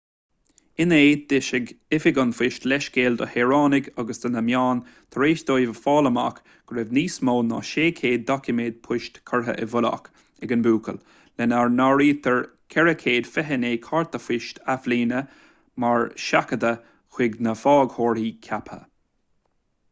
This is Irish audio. inné d'eisigh oifig an phoist leithscéal do shaoránaigh agus do na meáin tar éis dóibh a fháil amach go raibh níos mó ná 600 doiciméad poist curtha i bhfolach ag an mbuachaill lena n-áirítear 429 cárta poist athbhliana nár seachadadh chuig na faighteoirí ceaptha